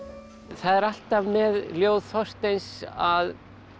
það er alltaf með ljóð Þorsteins að